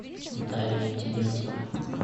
дарья терентьева